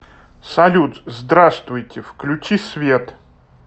салют здравствуйте включи свет